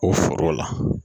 O foro la